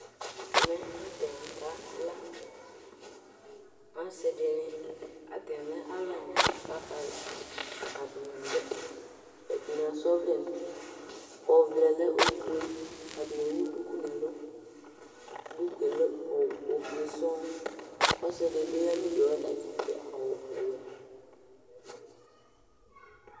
Ɛmɛ atanɩ kala Asɩ dɩnɩ atanɩ lɛ alʋ ɛna kʋ akala Atanɩ dɛ ɛdɩnɩ asa ɔvlɛ nʋ uti Ɔvlɛ yɛ lɛ ofue Atanɩ ewu duku nʋ ɛlʋ Duku yɛ lɛ ofue sɔŋ Ɔsɩ dɩ bɩ ya nʋ udu yɛ, ɔta bɩ adʋ awʋwɛ